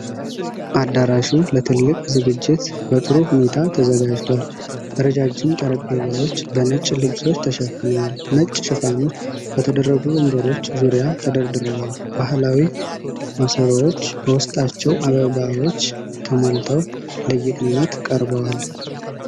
አዳራሹ ለትልቅ ዝግጅት በጥሩ ሁኔታ ተዘጋጅቷል። ረዣዥም ጠረጴዛዎች በነጭ ልብሶች ተሸፍነዋል፤ ነጭ ሽፋኖች በተደረጉ ወንበሮች ዙሪያ ተደርድረዋል፤ ባህላዊ ማሰሮዎች በውስጣቸው አበባዎች ተሞልተው ለጌጥነት ቀርበዋል።